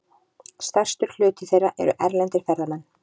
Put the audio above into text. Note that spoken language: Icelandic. Stærstur hluti þeirra eru erlendir ferðamenn.